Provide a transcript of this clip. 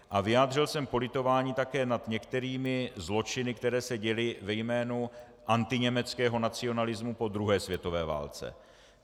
A vyjádřil jsem politování také nad některými zločiny, které se děly ve jménu antiněmeckého nacionalismu po druhé světové válce.